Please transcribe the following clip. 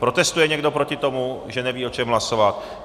Protestuje někdo proti tomu, že neví, o čem hlasovat